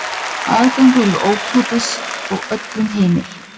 Aðgangur er ókeypis og öllum heimill.